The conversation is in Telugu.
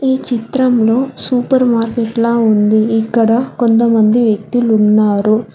ఈ చిత్రంలో సూపర్ మార్కెట్లా ఉంది ఇక్కడ కొంతమంది వ్యక్తులు ఉన్నారు.